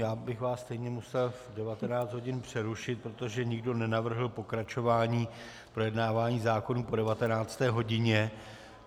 Já bych vás stejně musel v 19 hodin přerušit, protože nikdo nenavrhl pokračování projednávání zákonů po 19. hodině.